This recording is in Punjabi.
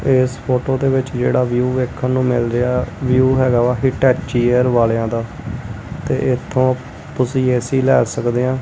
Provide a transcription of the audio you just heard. ਇਸ ਫੋਟੋ ਦੇ ਵਿੱਚ ਜਿਹੜਾ ਵਿਊ ਵੇਖਣ ਨੂੰ ਮਿਲ ਰਿਹਾ ਵਿਊ ਹੈਗਾ ਵਾ ਹੀਟੈਚੀ ਏਅਰ ਵਾਲਿਆਂ ਦਾ ਤੇ ਇਥੋਂ ਤੁਸੀਂ ਐ ਸੀ ਲੈ ਸਕਦੇ ਆ।